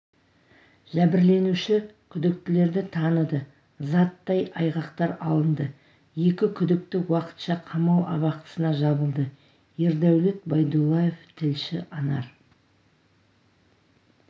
жәбірленуші күдіктілерді таныды заттай айғақтар алынды екі күдікті уақытша қамау абақтысына жабылды ердәулет байдуллаев тілші анар